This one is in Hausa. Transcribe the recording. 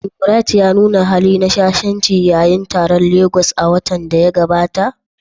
Shin Bright ya nuna hali na shashanci yayin taron a Legas a watan da ya gabata?